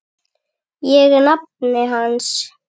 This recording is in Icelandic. Ég er nafni hans.